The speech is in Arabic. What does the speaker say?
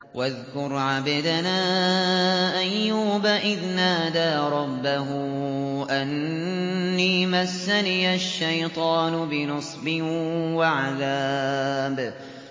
وَاذْكُرْ عَبْدَنَا أَيُّوبَ إِذْ نَادَىٰ رَبَّهُ أَنِّي مَسَّنِيَ الشَّيْطَانُ بِنُصْبٍ وَعَذَابٍ